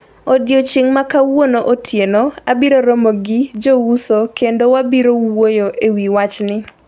Odiechieng' ma kawuono otieno abiro romo gi jouso kendo wabiro wuoyo ewi wachni.